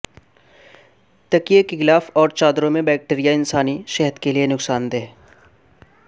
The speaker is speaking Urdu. تکیے کے غلاف اور چادروں میں بیکٹریا انسانی صحت کے لیے نقصان دہ